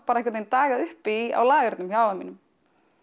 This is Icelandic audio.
einhvern veginn dagaði uppi á lagenum hjá afa mínum